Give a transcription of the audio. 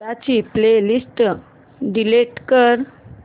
दादा ची playlist delete कर